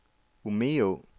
Umeå